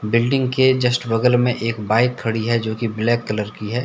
Building के just बगल में एक बाइक खड़ी है जो कि ब्लैक कलर की है।